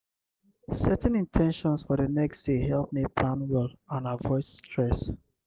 setting in ten tions for the next day help me plan well and avoid stress.